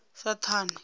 saṱhane